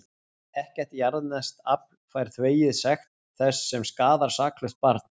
Ekkert jarðneskt afl fær þvegið sekt þess sem skaðar saklaust barn.